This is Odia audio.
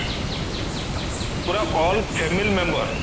ପୁରା all family member